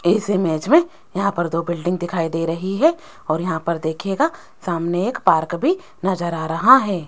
इस इमेज मे यहां पर दो बिल्डिंग दिखाई दे रही है और यहां पर दिखायेगा सामने के पार्क भी नजर आ रहा है।